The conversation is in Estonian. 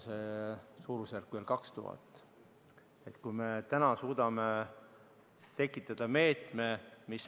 See suurusjärk on veel 2000 inimest.